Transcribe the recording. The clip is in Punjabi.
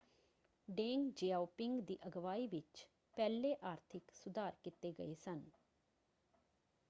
ਡੇਂਗ ਜ਼ਿਆਓਪਿੰਗ ਦੀ ਅਗਵਾਈ ਵਿੱਚ ਪਹਿਲੇ ਆਰਥਿਕ ਸੁਧਾਰ ਕੀਤੇ ਗਏ ਸਨ।